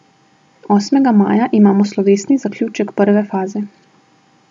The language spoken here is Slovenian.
Osmega maja imamo slovesni zaključek prve faze.